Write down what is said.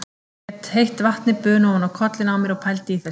Ég lét heitt vatnið buna ofan á kollinn á mér og pældi í þessu.